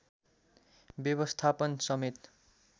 व्यवस्थापन समेत